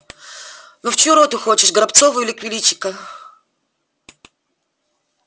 ну в чью роту хочешь к горобцову или к величко